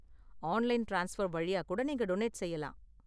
Online transfer வழியா கூட நீங்க டொனேட் செய்யலாம்.